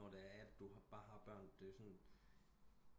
Når det er at du bare har børn det er sådan